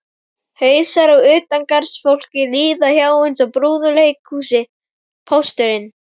Hausar á utangarðsfólki líða hjá eins og í brúðuleikhúsi: Pósturinn